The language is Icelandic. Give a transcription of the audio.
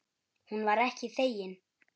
Hún var ekki þegin.